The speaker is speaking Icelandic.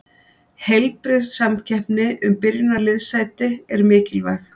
Heilbrigð samkeppni um byrjunarliðssæti er mikilvæg.